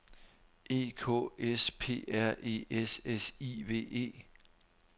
E K S P R E S S I V E